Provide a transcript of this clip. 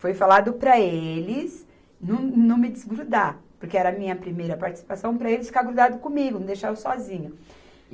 Foi falado para eles não, não me desgrudar, porque era a minha primeira participação, para eles ficar grudados comigo, não deixar eu sozinha.